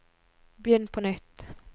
begynn på nytt